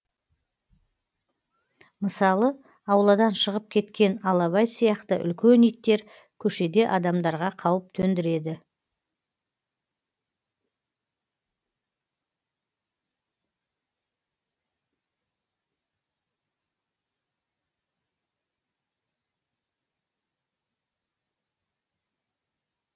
мысалы ауладан шығып кеткен алабай сияқты үлкен иттер көшеде адамдарға қауіп төндіреді